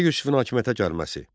Qara Yusifin hakimiyyətə gəlməsi.